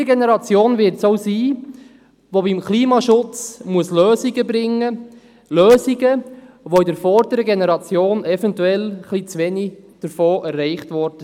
Diese Generation wird es denn auch sein, die beim Klimaschutz Lösungen bringen muss – Lösungen, die von der vorangehenden Generation eventuell etwas zu wenig erfüllt wurden.